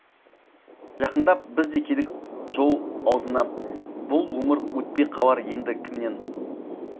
жақындап біз де келдік жол аузына бұл өмір өтпей қалар енді кімнен